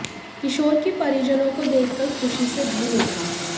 किशोर भी परिजनों को देखकर खुशी से झूम उठा